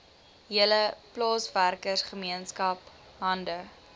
hele plaaswerkergemeenskap hande